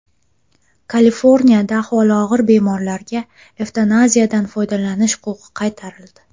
Kaliforniyada ahvoli og‘ir bemorlarga evtanaziyadan foydalanish huquqi qaytarildi.